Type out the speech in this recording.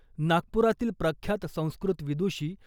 नागपुरातील प्रख्यात संस्कृत विदुषी